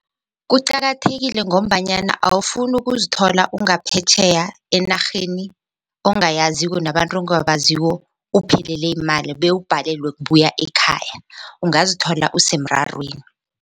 Kuqakathekile ngombanyana awufuni ukuzithola ungaphetjheya enarheni ongayaziko nabantu ongabaziko uphelelwe yimali bewubhalelwe kubuya ekhaya ungazithola usemrarweni.